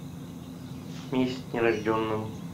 месть нерожденному